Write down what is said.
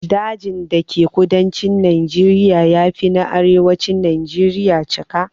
Dajin da ke kudancin Najeriya ya fi na arewacin najeriya cika.